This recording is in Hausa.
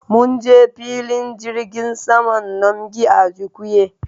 Munje filin jirgin saman nnamdi Azikiwe